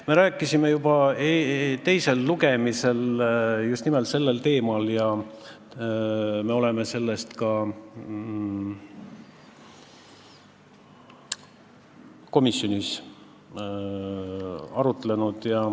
Me rääkisime juba teisel lugemisel just nimelt sellel teemal ja oleme selle üle ka komisjonis arutlenud.